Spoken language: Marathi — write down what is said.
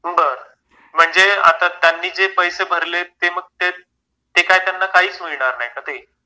बर. म्हणजे आता त्यांनी जे पैसे भरले आहेत ते मग ते काय त्यांना काहीच मिळणार नाहीत का ते?